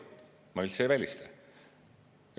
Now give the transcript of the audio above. Ma üldse ei välista seda.